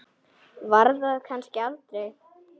Var þar kannski aldrei?